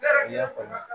I y'a faamu